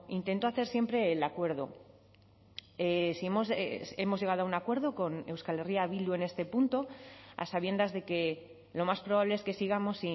intento hacer siempre el acuerdo hemos llegado a un acuerdo con euskal herria bildu en este punto a sabiendas de que lo más probable es que sigamos